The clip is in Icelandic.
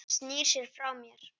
Hann snýr sér frá mér.